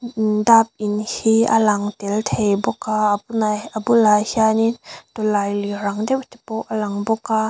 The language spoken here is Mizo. mm dap in hi a lang tel thei bawk a a bulah a bulah hianin tawlailir ang deuh te pawh a lang bawk a.